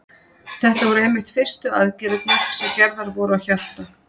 Þetta voru einmitt fyrstu aðgerðirnar sem gerðar voru á hjarta.